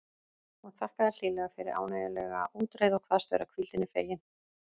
Hún þakkaði hlýlega fyrir ánægjulega útreið og kvaðst vera hvíldinni fegin.